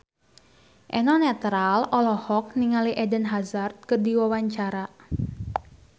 Eno Netral olohok ningali Eden Hazard keur diwawancara